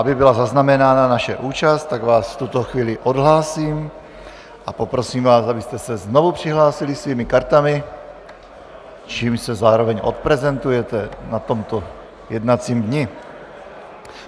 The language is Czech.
Aby byla zaznamenána naše účast, tak vás v tuto chvíli odhlásím a poprosím vás, abyste se znovu přihlásili svými kartami, čímž se zároveň odprezentujete na tomto jednacím dni.